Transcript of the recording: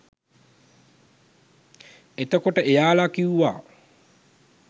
එතකොට එයාලා කිව්වා